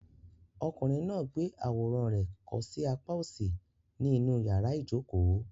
Ọkùnrin náà gbé àwòrán rẹ̀ kọ́ sí apá òsì ní inú yàrá ìjokòó.